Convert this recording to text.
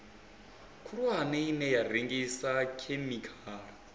khulwane ine ya rengisa khemikhala